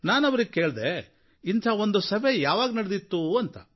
ನಾನು ಅವರಿಗೆ ಕೇಳಿದೆ ಈ ಮುಂಚೆ ಇಂಥ ಒಂದು ಸಭೆ ಯಾವಾಗ ನಡೆದಿತ್ತು ಅಂತ